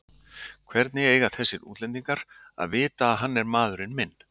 Hvernig eiga þessir útlendingar að vita að hann er maðurinn minn?